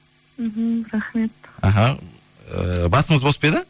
мхм рахмет іхі ііі басыңыз бос па еді